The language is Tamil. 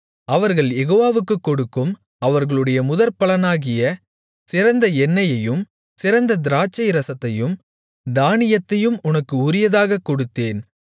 அவர்கள் யெகோவாவுக்குக் கொடுக்கும் அவர்களுடைய முதற்பலன்களாகிய சிறந்த எண்ணெயையும் சிறந்த திராட்சைரசத்தையும் தானியத்தையும் உனக்கு உரியதாகக் கொடுத்தேன்